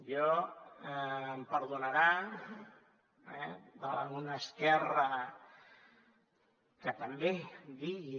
jo em perdonarà eh d’una esquerra que també digui